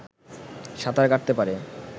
সাঁতার কাটতে পারে